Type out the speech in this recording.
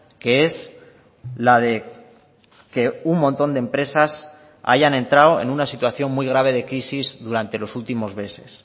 que es la de que un montón de empresas hayan entrado en una situación muy grave de crisis durante los últimos meses